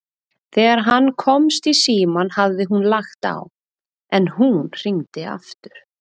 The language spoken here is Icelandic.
Þegar hann komst í símann hafði hún lagt á, en hún hringdi aftur.